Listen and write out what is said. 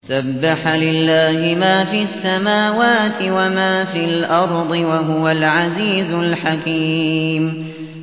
سَبَّحَ لِلَّهِ مَا فِي السَّمَاوَاتِ وَمَا فِي الْأَرْضِ ۖ وَهُوَ الْعَزِيزُ الْحَكِيمُ